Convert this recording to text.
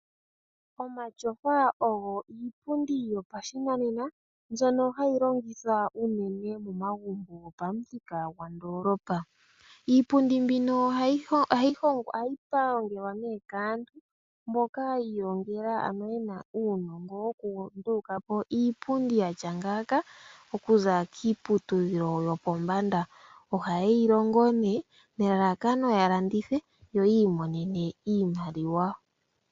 Omatyofa ogo iipundi yopashinanena mbyono hayi longithwa uunene momagumbo gopamuthika gwandoolopa. Iipundi mbino ohayi hongwa/ pangelwa nee kaantu mboka ya ilongela ano yena uunongo woku nduluka po iipundi yatya ngaaka okuza kiiputudhilo yopombanda. Ohaye yi longo ne nelalakano ya landithe yo yi imonene iimaliwa.